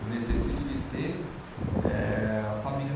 Eu necessito de ter eh, a família.